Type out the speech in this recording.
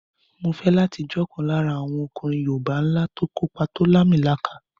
Mo fẹ́ láti jẹ́ ọ̀kan lára àwọn ọkùnrin yoòbá ńlá tó kópa tó làmìlaka